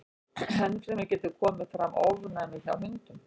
Enn fremur getur komið fram ofnæmi hjá hundum.